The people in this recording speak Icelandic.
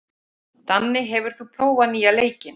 Sá þenkir sem þegjandi situr.